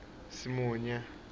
simunye